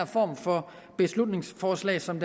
form for beslutningsforslag som